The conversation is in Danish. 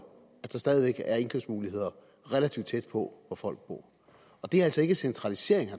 at der stadig væk er indkøbsmuligheder relativt tæt på hvor folk bor det er altså ikke centralisering